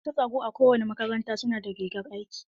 Masu tsaro a kowane makaranta su na da rigar aiki.